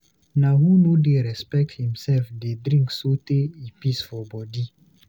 Na who no dey respect imself dey drink sotee e pis for bodi.